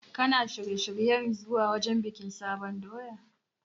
Kana shirye-shiryen zuwa wajen bikin sabon doya?